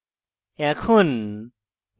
এখন